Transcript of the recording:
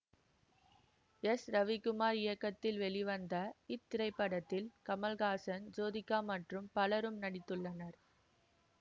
S Ravikumar இயக்கத்தில் வெளிவந்த இத்திரைப்படத்தில் கமல்ஹாசன் ஜோதிகா மற்றும் பலரும் நடித்துள்ளனர்